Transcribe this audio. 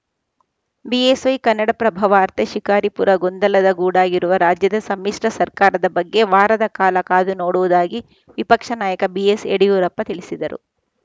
BSY Kannadaprabha ವಾರ್ತೆ ಶಿಕಾರಿಪುರ ಗೊಂದಲದ ಗೂಡಾಗಿರುವ ರಾಜ್ಯದ ಸಮ್ಮಿಶ್ರ ಸರ್ಕಾರದ ಬಗ್ಗೆ ವಾರದ ಕಾಲ ಕಾದು ನೋಡುವುದಾಗಿ ವಿಪಕ್ಷ ನಾಯಕ ಬಿಎಸ್‌ ಯಡಿಯೂರಪ್ಪ ತಿಳಿಸಿದರು